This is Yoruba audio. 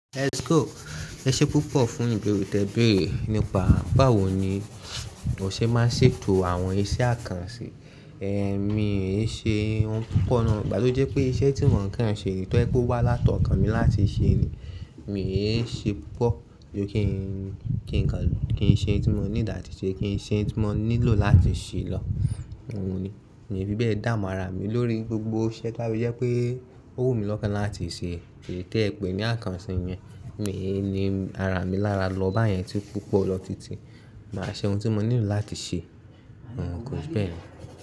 Ẹ ṣé púpọ̀ fún ìgbérú tẹ́ẹ béèrè nípa báwo ni o ṣe máa ṣètò àwọn iṣẹ́ àkànṣe. Èmi i ṣe ohun púpọ̀ náà, gbà tó jẹ́ pé iṣẹ́ tí mò ń kàn ṣe ètò ẹ kú wá látọ̀kan mi láti ṣe ni. Mi ò ṣe púpọ̀, kí n ṣe ohun tí mò ní ìdáhùn ṣe, kí n ṣe ohun tí mò nílò láti ṣe lọ. Àwọn ni, mi ò fi bẹ́ẹ̀ dààmú ara mi lórí gbogbo iṣẹ́ tó bá yẹ pé ó wù mí lọ́kàn láti ṣe. Kí n tẹ́ ẹ pè ní àkànṣe yẹn, mi ò ní ara mi lára lọ bá yẹn tí púpọ̀ lọ títí máa ṣe ohun tí mò nílò láti ṣe. Kò jù báyen lọ.